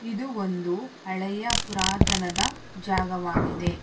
ಇದು ಒಂದು ಹಳೆಯ ಪುರತನದ ಜಾಗವಾಗಿದೆ.